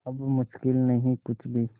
अब मुश्किल नहीं कुछ भी